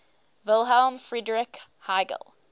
wilhelm friedrich hegel